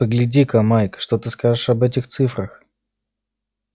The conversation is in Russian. погляди-ка майк что ты скажешь об этих цифрах